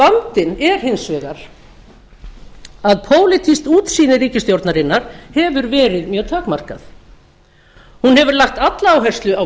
vandinn er hins vegar að pólitískt útsýni ríkisstjórnarinnar hefur verið mjög takmarkað hún hefur lagt alla áherslu á